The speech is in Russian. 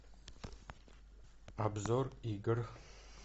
обзор игр